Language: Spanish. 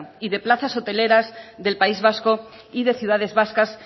y de plazas hoteleras del país vasco y de ciudades vascas